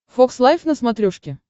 фокс лайф на смотрешке